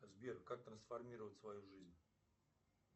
сбер как трансформировать свою жизнь